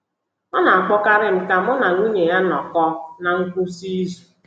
Ọ na-akpọkarị m ka mụ na ya na nwunye ya nọkọọ ná ngwụsị izu.